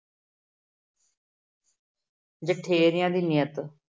ਜਠੇਰਿਆਂ ਦੀ ਨੀਅਤ।